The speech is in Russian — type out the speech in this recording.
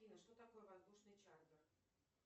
афина что такое воздушный чартер